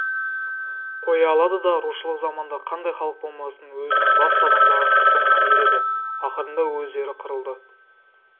қоя алады да рушылық заманда қандай халық болмасын өзінің басты адамдарының соңынан ереді ақырында өздері қырылды